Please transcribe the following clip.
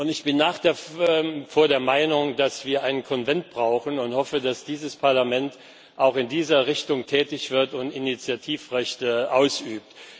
Ich bin nach wie vor der Meinung, dass wir einen Konvent brauchen, und hoffe, dass dieses Parlament auch in dieser Richtung tätig wird und Initiativrechte ausübt.